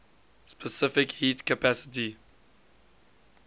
specific heat capacity